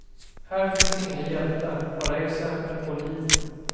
Här finns inga hjältar, bara exempel på liv.